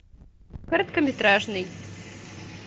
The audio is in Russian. короткометражный